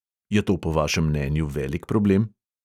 Je to po vašem mnenju velik problem?